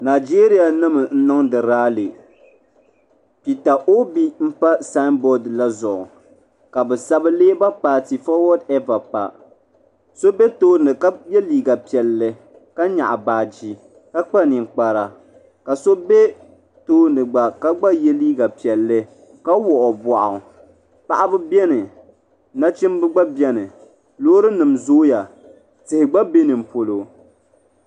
Najeriya nima n niŋdi laali pita obi n tabi samboori maa zuɣu ka bɛ sabi leeba paati fowodi eva baakiwori neva pa so be tooni ka ye liiga piɛlli ka nyaɣi baagi ka Kpa ninkpara ka so be tooni gba ka gba ye liiga piɛlli ka wuɣi o boɣu baɣaba biɛni nachimba gba biɛni loori nima zooya tihi gba be ninpolo.